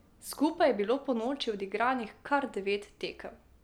Skupaj je bilo ponoči odigranih kar devet tekem.